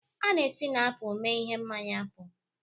A na-esi na apụl mee ihe mmanya apụl